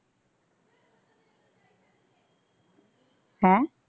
ਹੈਂ।